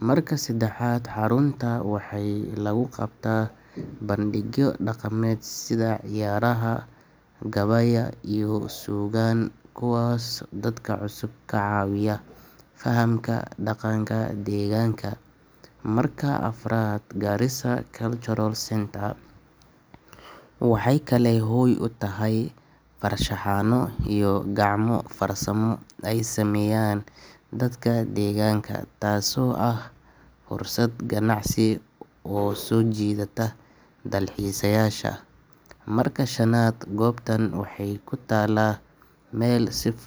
Marka saddexaad, haradu waxay leedahay muhiimad dhaqan, dhaqaale iyo nololeed, iyadoo dad badan ay ku tiirsan yihiin kalluumaysiga iyo biyaha harada si ay noloshooda u maareeyaan. Marka afraad, magaalooyinka waaweyn sida Kisumu waxay ku yaallaan hareeraha harada, taasoo ka dhigaysa xarun ganacsi oo muhiim ah. Marka shanaad, harada Victoria sidoo kale waxay leedahay doonyo iyo maraakiib yaryar oo dad.